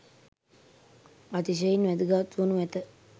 අතිශයින් වැදගත් වනු ඇත